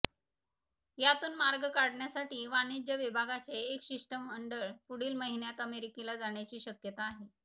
यातून मार्ग काढण्यासाठी वाणिज्य विभागाचे एक शिष्टमंडळ पुढील महिन्यात अमेरिकेला जाण्याची शक्यता आहे